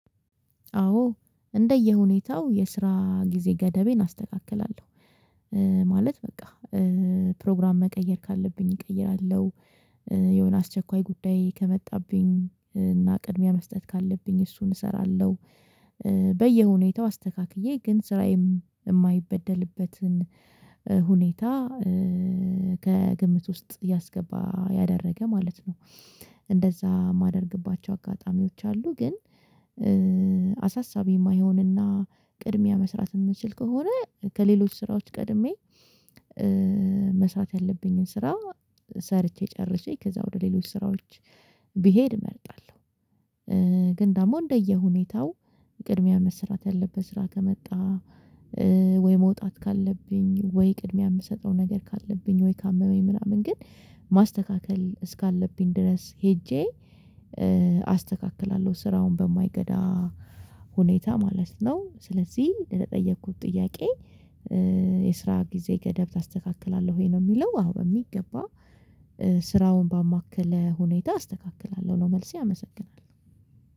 አዎ እንደየሁኔታው የስራ ጊዜ ገደቤን አስተካክላለው። ማለት በቃ ፕሮግራም መቀየር ካለብኝ እቀይራለው የሆነ አስቸኳይ ጉዳይ ከመጣብኝ አና ቅድሚያ መስጠት ካለብኝ እሱን እሰራለው። በየሁኔታው አስተካክዬ ግን ስራዬም የማይበደልበትን ሁኔታ ከግምት ውስጥ ያስገባ ያደረገ ማለት ነው። እንደዛ ማደርግባቸው አጋጣሚዎች አሉ ግን አሳሳቢ የማይሆንና ቅድሚያ መስራት የምንችል ከሆነ ከሌሎች ስራዎች ቀድሜ መስራት ያለብኝን ስራ ሰርቼ ጨርሼ ከዛ ወደ ሌሎች ስራዎች ብሄድ እመርጣለው። ግን ደግሞ እንደየሁኔታው ቅድሚያ መስራት ያለበት ስራ ከመጣ ወይ መውጣት ካለብኝ ወይ ቅድሚያ የምሰጠው ነገር ካለብኝ ወይ ካመመኝ ምናምን ግን ማስተካከል እስካለብኝ ድረስ ሄጄ አስተካክላለው ስራውን በማይጎዳ ሁኔታ ማለት ነው። ስለዚህ የተጠየኩት ጥያቄ የስራ ጊዜ ገደብ አስተካክላለሁ ወይ ነው? የሚለው አዎ በሚገባ ስራውን ባማከለ ሁኔታ አስተካክላለው ነው መልሴ አመሰግናለው።